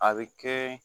A bɛ kɛ